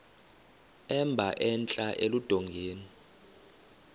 emba entla eludongeni